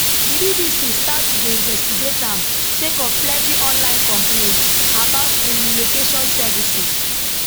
di bbc start to dey investigate am sake of plenti online complaints about im relocation services